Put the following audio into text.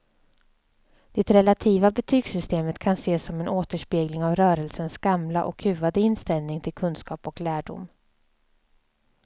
Det relativa betygssystemet kan ses som en återspegling av rörelsens gamla och kuvade inställning till kunskap och lärdom.